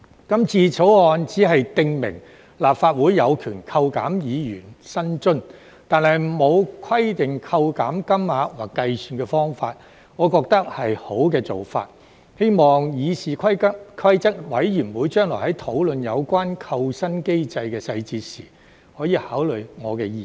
今次《條例草案》僅訂明立法會有權扣減議員薪津，但沒有規定扣減金額或計算方法，我覺得是好的做法，希望議事規則委員會將來討論有關扣薪機制的細節時，可以考慮我的意見。